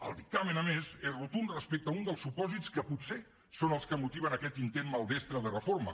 el dictamen a més és rotund respecte a un dels supòsits que potser són els que motiven aquest intent maldestre de reforma